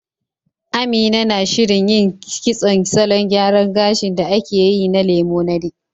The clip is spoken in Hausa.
Amina na shirin yin kitson salon gyaran gashin da ake yayi na Lemonade